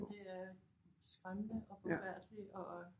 Det er skræmmende og forfærdeligt og